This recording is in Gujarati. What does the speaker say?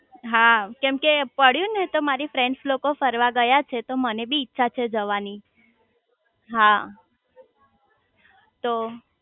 હા કેમ કે પડ્યું ને તો મારી ફ્રેન્ડ્સ લોકો ફરવા ગયા છે તો મને પણ ઈચ્છા છે જવાની હા તો